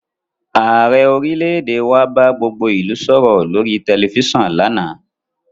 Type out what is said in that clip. Ààrẹ orílẹ̀èdè wa bá gbogbo ìlú sọ̀rọ̀ lórí tẹ̀lifísàn lánàá